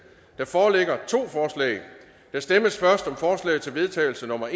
der foreligger to forslag der stemmes først om forslag til vedtagelse nummer